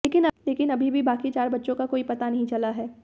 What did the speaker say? लेकिन अभी भी बाक़ी चार बच्चों का कोई पता नहीं चला है